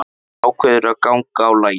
Hann ákveður að ganga á lagið.